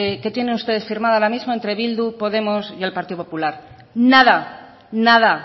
que tienen ustedes firmada ahora mismo entre bildu podemos y el partido popular nada nada